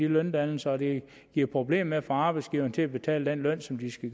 løndannelse og at det giver problemer med at få arbejdsgiverne til at betale den løn som de skal